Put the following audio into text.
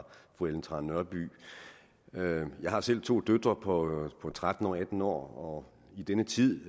fru ellen trane nørby jeg har selv to døtre på tretten og atten år og i denne tid